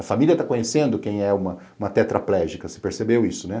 A família tá conhecendo quem é uma tetraplégica, você percebeu isso, né?